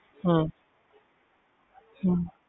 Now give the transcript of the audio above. ਹਮ ਹਮ